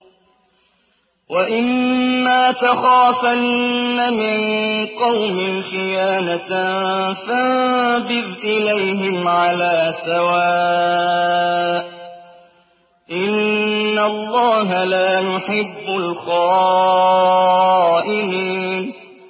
وَإِمَّا تَخَافَنَّ مِن قَوْمٍ خِيَانَةً فَانبِذْ إِلَيْهِمْ عَلَىٰ سَوَاءٍ ۚ إِنَّ اللَّهَ لَا يُحِبُّ الْخَائِنِينَ